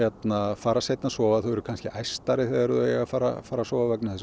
fara seinna sofa þau eru þegar þau fara fara að sofa vegna þess